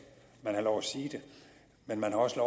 man har lov at sige det men man har også